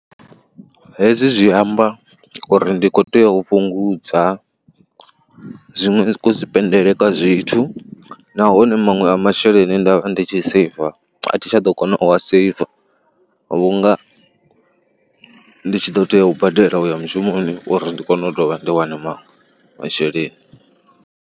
Hezwi zwi amba uri ndi khou tea u fhungudza zwiṅwe ku sipendele kwa zwithu nahone maṅwe masheleni nda vha ndi tshi seiva a thi tsha ḓo kona u seiva vhunga ndi tshi ḓo tea u badela u ya mushumoni uri ndi kone u dovha ndi wane maṅwe masheleni.